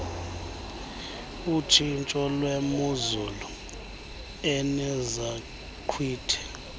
otshintsho lwemozulu enezaqhwithi